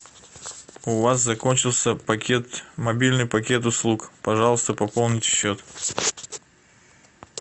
у вас закончился пакет мобильный пакет услуг пожалуйста пополните счет